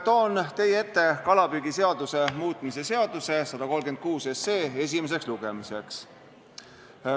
Toon teie ette esimeseks lugemiseks kalapüügiseaduse muutmise seaduse eelnõu 136.